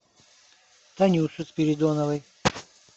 танюше спиридоновой